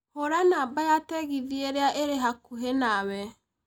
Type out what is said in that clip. Hũra namba ya tegithĨ ĩrĩa ĩrĩ hakuhĩ nawe